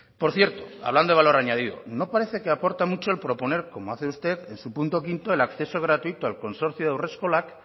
por cierto hablando de valor añadido no parece que aporta mucho el proponer como hace usted el su punto quinto el acceso gratuito al consorcio de haurreskolak